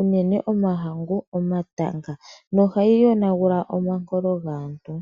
uunene omahangu, omatanga nohayi yonagula po omankolo gaantu.